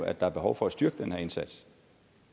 at der er behov for at styrke den her indsats